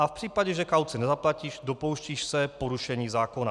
A v případě, že kauci nezaplatíš, dopouštíš se porušení zákona.